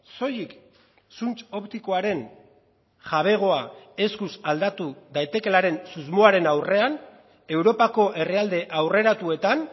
soilik zuntz optikoaren jabegoa eskuz aldatu daitekeelaren susmoaren aurrean europako herrialde aurreratuetan